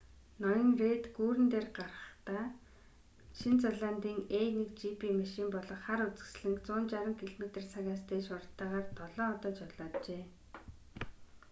ноён рейд гүүрэн дээгүүр гарахдаа шинэ зеландын a1gp маших болох хар үзэсгэлэнг 160 км/цагаас дээш хурдтайгаар долоон удаа жолооджээ